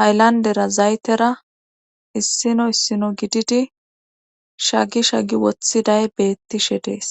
haylandera zaytera issino issino gididi shagi shagi woththiday beettishe dees